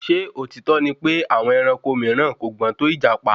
Ṣé òtítọ́ ni pè àwọn ẹranko mìíràn kò gbọ́n tò ìjàpá?